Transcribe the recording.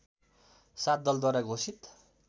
सात दलद्वारा घोषित